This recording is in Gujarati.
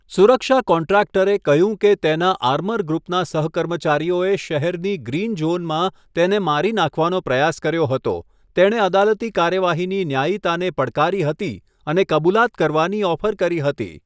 સુરક્ષા કોન્ટ્રાક્ટરે કહ્યું કે તેના આર્મરગ્રુપના સહકર્મચારીઓએ શહેરની ગ્રીન ઝોનમાં તેને મારી નાખવાનો પ્રયાસ કર્યો હતો, તેણે અદાલતી કાર્યવાહીની ન્યાયીતાને પડકારી હતી અને કબુલાત કરવાની ઓફર કરી હતી.